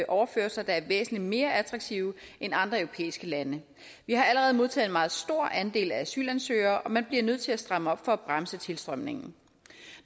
overførsler der er væsentlig mere attraktive end andre europæiske lande vi har allerede modtaget en meget stor andel af asylansøgere og man bliver nødt til at stramme op for at bremse tilstrømningen